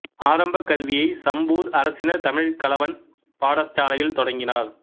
ஆரம்பக் கல்வியை சம்பூர் அரசினர் தமிழ்க் கலவன் பாடசாலையில் தொடங்கினார்